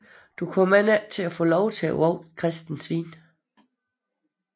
Du kommer end ikke at få lov til at vogte kristne svin